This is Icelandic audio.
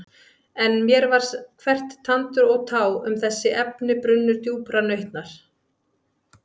En mér var hvert tandur og tá um þessi efni brunnur djúprar nautnar.